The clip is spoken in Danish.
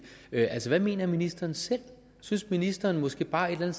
altså hvad mener ministeren selv synes ministeren måske bare et eller